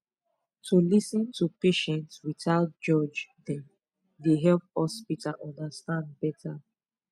to lis ten to patient without judge dem dey help hospital understand better